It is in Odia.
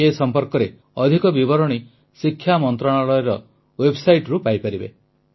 ଏ ସମ୍ପର୍କରେ ଅଧିକ ବିବରଣୀ ଶିକ୍ଷା ମନ୍ତ୍ରଣାଳୟର ୱେବ୍ସାଇଟ୍ରୁ ପାଇପାରିବେ